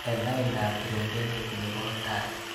Eng laindap trompenatet nebo tai.